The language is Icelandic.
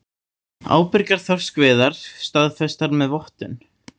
Ábyrgar þorskveiðar staðfestar með vottun